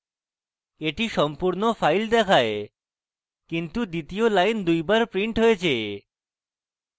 এটি সম্পূর্ণ file দেখায় কিন্তু দ্বিতীয় line দুইবার printed হয়েছে